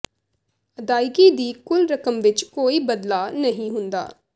ਅਦਾਇਗੀ ਦੀ ਕੁੱਲ ਰਕਮ ਵਿੱਚ ਕੋਈ ਬਦਲਾਅ ਨਹੀਂ ਹੁੰਦਾ